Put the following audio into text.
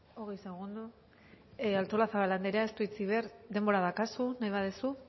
hogei segundo artolazabal andrea ez du hitzik behar denbora daukazu nahi baduzu